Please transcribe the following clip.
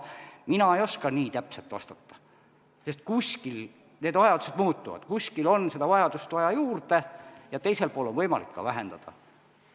Mina ei oska nii täpselt vastata, kuskil vajadus muutub, kuskil on vaja juurde ja teises kohas on võimalik ka vähendada.